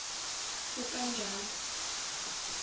ukanjalo